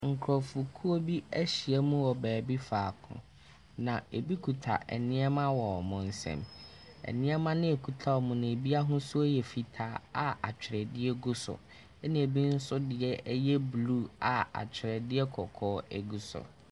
Nkurɔfokuo bi ahyiam wɔ baabi faako, na ebi kuta nneɛma wɔ wɔn nsam. Nneɛma no a ɛkuta wɔn no, ebi ahosuo yɛ fitaa a atwerɛdeɛ gu so, ɛnna ebi nso deɛ yɛ blue a atwerɛdeɛ kɔkɔɔ gu so.